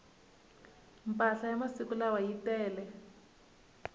mpahla masiku lawa yi tele